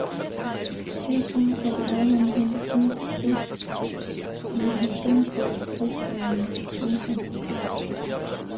Herfra kan programmerne hentes ned til test i en halvfems dages testperiode. punktum